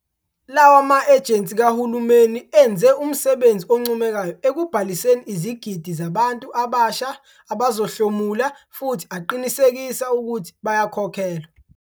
Lawa ma-ejensi kahulumeni enze umsebenzi oncomekayo ekubhaliseni izigidi zabantu abasha abazohlomula futhi aqinisekisa ukuthi bayakhokhelwa.